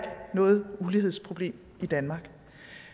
noget ulighedsproblem i danmark